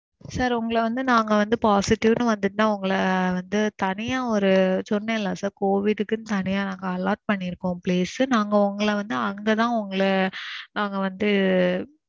sir. உங்கள வந்து நாங்க வந்து positive னு வந்திச்சுனா உங்கள வந்து தனியா ஒரு சொன்னேல்ல sir, Covid கு தனியா நாங்க allot பண்ணிருக்கோம் place. நாங்க உங்கள வந்து அங்கதான் உங்கள நாங்க வந்து